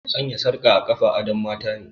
Sanya sarka a kafa adon matane